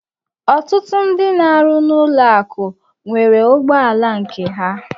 Ọtụtụ ndị n'arụ n'ụlọ akụ nwere ụgbọ ala nke ha.